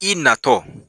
I natɔ